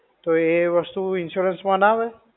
તો એ વસ્તુ insurance માં ના આવે?